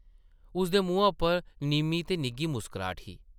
उसदे मुहां उप्पर निʼम्मी ते निग्घी मुस्कराह्ट ही ।